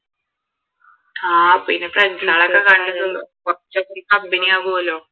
ആഹ് പിന്നെ friends കുറച്ചൊക്കെ company ആകൂലോ